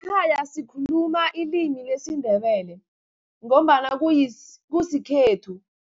Ekhaya sikhuluma ilimi lesiNdebele, ngombana kusikhethu.